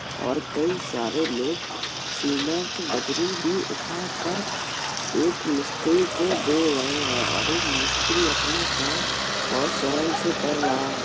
और कई सारे लोग सीमेंट बजरी भी उठाकर एक मिस्त्री को दे रहे हैं और एक मिस्त्री अपना काम बहोत स्वयं से कर रहा है।